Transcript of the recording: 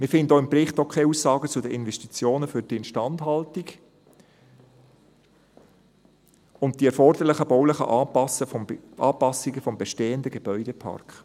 Wir finden im Bericht auch keine Aussagen zu den Investitionen für die Instandhaltung und die erforderlichen baulichen Anpassungen des bestehenden Gebäudeparks.